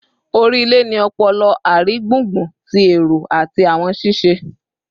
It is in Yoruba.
Ori ile ni ọpọlọ, arigbungbun ti ero ati awọn sise